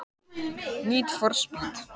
Hugrún: Og hvað verður biðin löng?